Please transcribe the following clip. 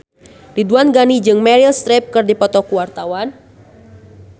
Ridwan Ghani jeung Meryl Streep keur dipoto ku wartawan